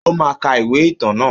Ó máa ka ìwé ìtàn naa